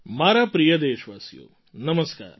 મારા પ્રિય દેશવાસીઓ નમસ્કાર